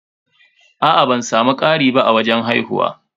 Aa ban samu ƙari ba a wajen haihuwa.